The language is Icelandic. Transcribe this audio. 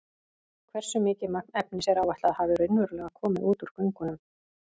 Hversu mikið magn efnis er áætlað að hafi raunverulega komið út úr göngunum?